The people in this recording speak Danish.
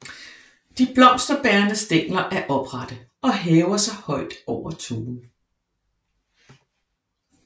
De blomsterbærende stængler er oprette og hæver sig højt over tuen